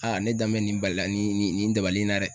ne danbɛ nin bali la nin nin nin dabali in na dɛ.